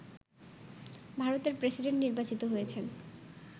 ভারতের প্রেসিডেন্ট নির্বাচিত হয়েছেন